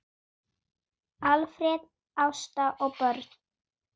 Alfreð, Ásta og börn.